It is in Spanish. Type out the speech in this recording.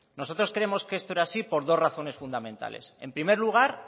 nosotros creemos que esto era así por dos razones fundamentales en primer lugar